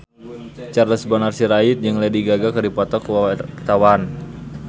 Charles Bonar Sirait jeung Lady Gaga keur dipoto ku wartawan